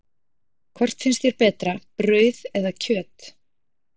Hvort finnst þér betra, brauð eða kjöt?